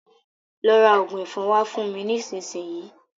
Lọ ra òògùn ẹ̀fọn wá fún mi nísinsìnyí.